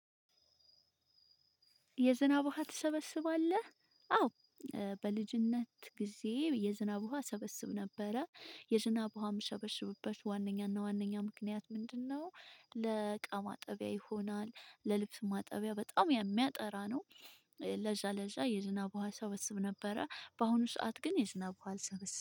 የዝናብ ውሃ ትሰበስባለህ? አዎ በልጅነት ግዜ የዝናብ ውሃ እሰበስብ ነበረ። የዝናብ ውሃ የምሰበስብበት ዋነኛና ዋነኛ ምክንያት ምንድነው፣ ለእቃ ማጠቢያ ይሆናል፣ ለልብስ ማጠቢያ በጣም የሚያጠራ ነው። ለዛ ለዛ የዝናብ ውሃ እሰበስብ ነበረ፣ በአሁኑ ሰዓት ግን የዝናብ ውሃ አልሰበስብም።